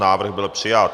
Návrh byl přijat.